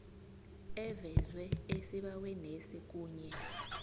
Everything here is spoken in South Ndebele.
evezwe esibawenesi kunye